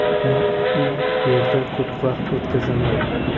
Men u yerda ko‘p vaqt o‘tkazaman.